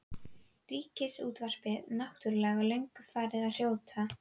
Ríkisútvarpið náttúrlega löngu farið að hrjóta.